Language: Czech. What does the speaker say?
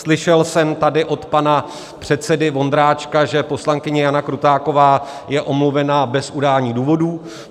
Slyšel jsem tady od pana předsedy Vondráčka, že poslankyně Jana Krutáková je omluvena bez udání důvodů.